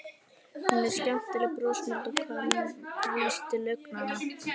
Hún er skemmtilega brosmild og kankvís til augnanna.